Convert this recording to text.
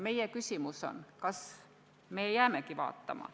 Meie küsimus on, kas me jäämegi seda ümber vaatama.